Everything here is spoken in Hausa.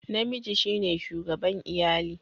Namiji shine shugaban iyali